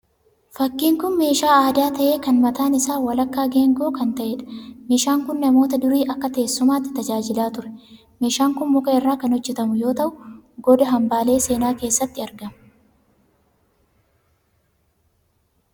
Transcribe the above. Fakkiin kun meeshaa aadaa ta'ee kan mataan isaa walakkaa geengoo kan ta'eedha. Meeshaan kun namoota durii akka teessumaatti tajaajilaa ture. Meeshaan kun muka irraa kan hojjetamu yemmuu ta'u goda hambaalee seenaa keessatti argama.